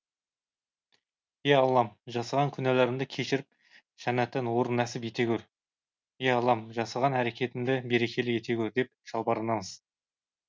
е аллам жасаған күнәларымды кешіріп жәннаттан орын нәсіп ете көр е аллам жасаған әрекетімді берекелі ете көр деп жалбарынамыз